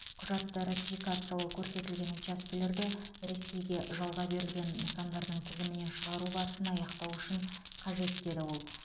құжатты ратификациялау көрсетілген учаскелерді ресейге жалға берілген нысандардың тізімінен шығару барысын аяқтау үшін қажет деді ол